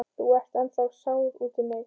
Þú ert ennþá sár út í mig.